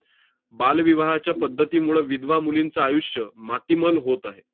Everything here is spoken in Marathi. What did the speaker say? बालविवाहाच्या पद्धतीमुळं विधवा मुलींचं आयुष्य मातीमोल होत आहे.